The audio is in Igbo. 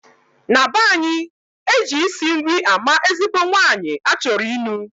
Na banyi, Eji isi nri ama ezigbo nwanyi achoro inuu.